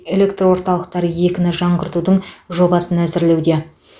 электр орталықтары екіні жаңғыртудың жобасын әзірлеуде